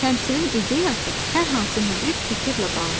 Təmsilin ideyası hər hansı müdrik fikirlə bağlı olur.